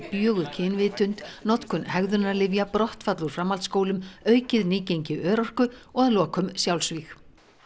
bjöguð kynvitund notkun brottfall úr framhaldsskólum aukið nýgengi örorku og að lokum sjálfsvíg